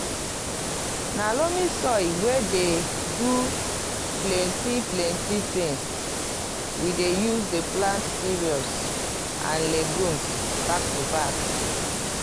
na loamy soil wey dey do pleni plenti tins we dey use dey plant cereals and legumes back to back.